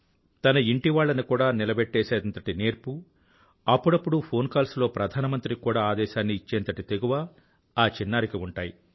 తన ఇంటివాళ్లను కూడా నిలబెట్టేసేంతటి నేర్పు అప్పుడప్పుడు ఫోన్ కాల్స్ లో ప్రధానమంత్రికి కూడా ఆదేశాన్ని ఇచ్చేంతటి తెగువ ఆ చిన్నారికి ఉంటాయి